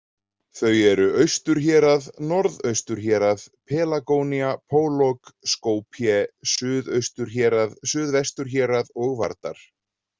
Þau eru Austurhérað, Norðausturhérað, Pelagónía, Pólog, Skopje, Suðausturhérað, Suðvesturhérað og Vardar.